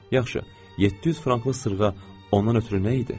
Yaxşı, 700 franklıq sırğa ondan ötrü nə idi?